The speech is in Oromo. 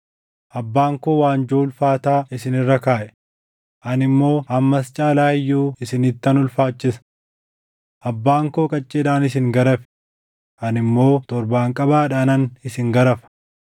Abbaan koo waanjoo ulfaataa isin irra kaaʼe; ani immoo hammas caalaa iyyuu isinittan ulfaachisa. Abbaan koo qacceedhaan isin garafe; ani immoo torbaanqabaadhaanan isin garafa.’ ”